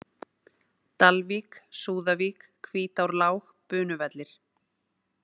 Dalvík, Súðavík, Hvítarlág, Bunuvellir